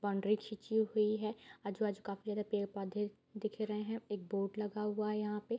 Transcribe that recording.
Boundary खीची हुइ है आजु-बाजु काफी ज्यादा पेड़-पौधे दिख रहे हैं एक बोट लगा हुआ है यहाँ पे।